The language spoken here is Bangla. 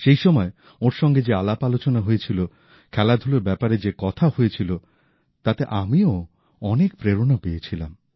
সেইসময় ওঁর সঙ্গে যে আলাপআলোচনা হয়েছিল খেলাধুলোর ব্যাপারে যে কথা হয়েছিল তাতে আমিও অনেক প্রেরণা পেয়েছিলাম